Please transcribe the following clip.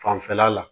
Fanfɛla la